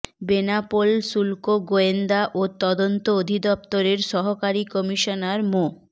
বেনাপোল শুল্ক গোয়েন্দা ও তদন্ত অধিদপ্তরের সহকারী কমিশনার মো